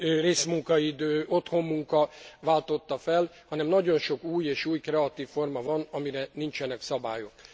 részmunkaidő, otthoni munka váltotta fel, hanem nagyon sok új és új kreatív forma van, amire nincsenek szabályok.